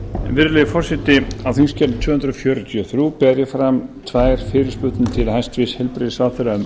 virðulegi forseti á þingskjali tvö hundruð fjörutíu og þrjú ber ég fram tvær fyrirspurnir til hæstvirts heilbrigðisráðherra um